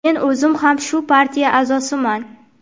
Men o‘zim ham shu partiya a’zosiman.